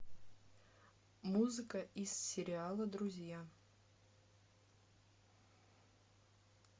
музыка из сериала друзья